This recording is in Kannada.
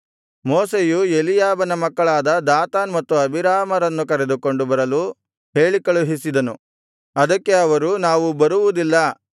ಮೋಶೆಯು ಎಲೀಯಾಬನ ಮಕ್ಕಳಾದ ದಾತಾನ್ ಮತ್ತು ಅಬೀರಾಮರನ್ನು ಕರೆದುಕೊಂಡು ಬರಲು ಹೇಳಿದರು ಅವರು ಅವನಿಗೆ ನಾವು ಬರುವುದಿಲ್ಲ